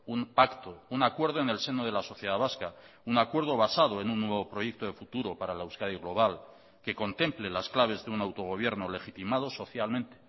un pacto un acuerdo en el seno de la sociedad vasca un acuerdo basado en un nuevo proyecto de futuro para la euskadi global que contemple las claves de un autogobierno legitimado socialmente